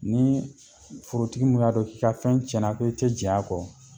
Ni forotigi min y'a dɔn k'i ka fɛn tiɲɛna ko i tɛ diɲɛn a kɔ